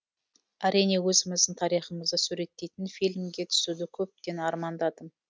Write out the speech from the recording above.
әрине өзіміздің тарихымызды суреттейтін фильмге түсуді көптен армандадым